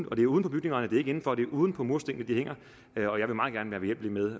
og det er uden på bygningerne det er ikke inden for det er uden på murstenene de hænger